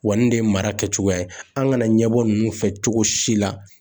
Wa nin de ye mara kɛcogoya ye an kana ɲɛbɔ ninnu fɛ cogo si la